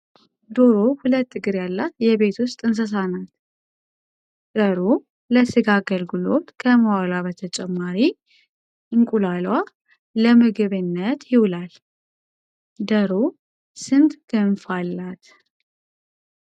ዶሮ ሁለት እግር ያላት የቤት ውስጥ እንስሳ ናት። ደሮ ለስጋ አገልግሎት ከመዋሏ በተጨማሪ እንቁላሏ ለመግብነት ይውላል። ደሮ ስንት ክንፍ አላት?